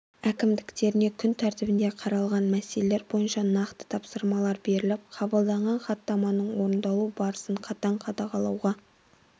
әкімдіктеріне күн тәртібінде қаралған мәселелер бойынша нақты тапсырмалар беріп қабылданған хаттаманың орындалу барысын қатаң қадағалауға